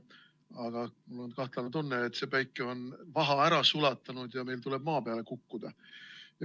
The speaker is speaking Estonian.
Aga mul on kahtlane tunne, et päike on vaha ära sulatanud ja meil tuleb maa peale kukkuda.